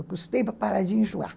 Eu custei para parar de enjoar.